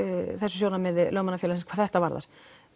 sjónarmiði Lögmannafélagsins hvað þetta varðar